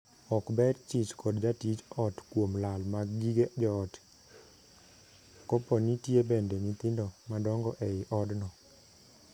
Ok ber chich kod jatij ot kuom lal mag gige joot kopo nitie bende nyithindo madongo ei odno.